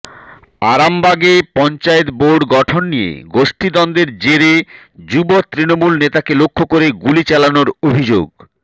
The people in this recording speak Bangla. আরামবাগে পঞ্চায়েত বোর্ড গঠন নিয়ে গোষ্ঠীদ্বন্দ্বের জেরে যুব তৃণমূল নেতাকে লক্ষ্য করে গুলি চালানোর অভিযোগ